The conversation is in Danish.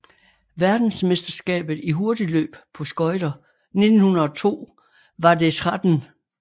Verdensmesterskabet i hurtigløb på skøjter 1902 var det 13